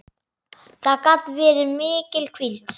Það gat verið mikil hvíld.